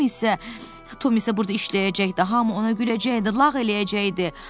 Tom isə, Tom isə burda işləyəcəkdi, hamı ona güləcəkdi, lağ eləyəcəkdi.